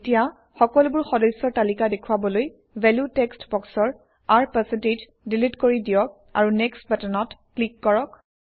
এতিয়া সকলোবোৰ সদস্যৰ তালিকা দেখুৱাবলৈ ভেলিউ টেক্সট বক্সৰ R ডিলিট কৰি দিয়ক আৰু নেক্সট বাটনত ক্লিক কৰক